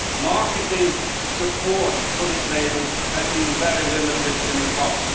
Marketing support for this label has been very limited in the past.